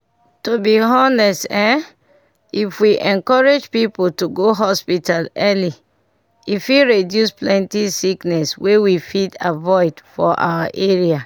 to be honest ehm if we encourage people to go hospital early e fit reduce plenty sickness wey we fit avoid for our area.